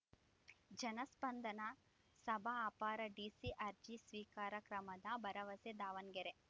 ಜನಸ್ಪಂದನ ಸಭ ಅಪರ ಡಿಸಿ ಅರ್ಜಿ ಸ್ವೀಕಾರ ಕ್ರಮದ ಭರವಸೆ ದಾವಣಗೆರೆ